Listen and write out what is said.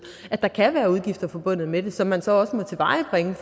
at der kan være udgifter forbundet med det som man så også må tilvejebringe